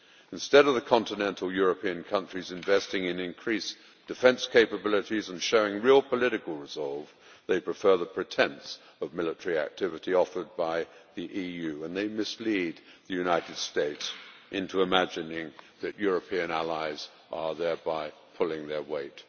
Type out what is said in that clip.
Instead of the continental European countries investing in increased defence capabilities and showing real political resolve, they prefer the pretence of military activity offered by the EU and they mislead the United States into imagining that European allies are thereby pulling their weight.